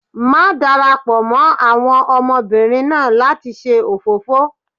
má darapọ mọ àwọn ọmọbìnrin náà lati ṣe òfófó!